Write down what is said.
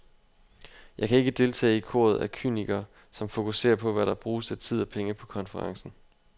Jeg kan ikke deltage i koret af kynikere, som fokuserer på, hvad der bruges af tid og penge på konferencen.